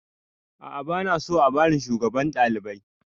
A'a ba na so a bani shugaban ɗalibai